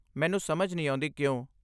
ਮੈਨੂੰ ਸਮਝ ਨਹੀਂ ਆਉਂਦੀ ਕਿਉਂ?